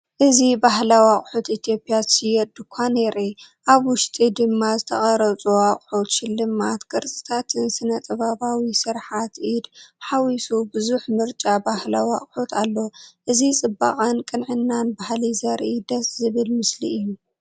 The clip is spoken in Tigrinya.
እዚ ባህላዊ ኣቑሑት ኢትዮጵያ ዝሸይጥ ድኳን የርኢ። ኣብ ውሽጢ ድማ ዝተቐርጹ ኣቑሑት ሽልማት ቅርጻታትን ስነ-ጥበባዊ ስርሓት ኢድን ሓዊሱ ብዙሕ ምርጫ ባህላዊ ኣቑሑት ኣሎ። እዚ ጽባቐን ቅንዕናን ባህሊ ዘርኢ ድስ ዘብል ምስሊ እዩ።